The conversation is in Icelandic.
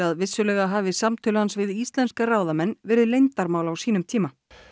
vissulega hafi samtöl hans við íslenska ráðamenn verið leyndarmál á sínum tíma